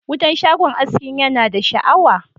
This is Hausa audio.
Wutan shagon askin ya na da sha'awa.